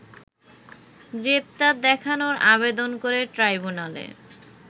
গ্রেপ্তার দেখানোর আবেদন করে ট্রাইব্যুনালে